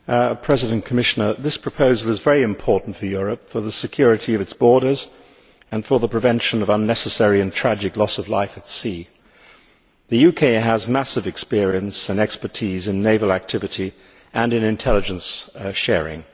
Madam President, this proposal is very important for Europe, for the security of its borders and for the prevention of unnecessary and tragic loss of life at sea. The UK has massive experience and expertise in naval activity and in intelligence sharing.